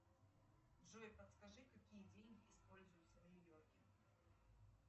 джой подскажи какие деньги используются в нью йорке